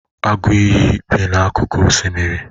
agụ iyi bi n'akụkụ osimiri?